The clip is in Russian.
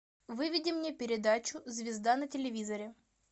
выведи мне передачу звезда на телевизоре